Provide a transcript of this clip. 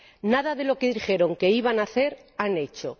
Nada de lo que dijeron que iban a hacer han hecho.